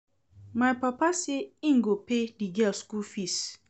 My papa say im go pay the girl school fees